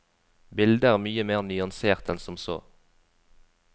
Bildet er mye mer nyansert enn som så.